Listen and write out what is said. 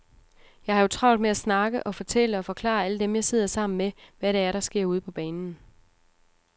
Jeg har jo travlt med at snakke og fortælle og forklare alle dem, jeg sidder sammen med, hvad det er, der sker ude på banen.